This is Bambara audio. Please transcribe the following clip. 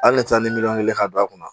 Hali ne taara ni miliyɔn kelen ka don a kunna